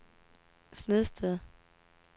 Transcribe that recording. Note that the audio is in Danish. Snedsted